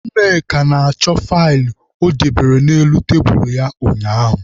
Nneka na-achọ faịlụ o dobere n'elu tebulu ya ụnyaahụ.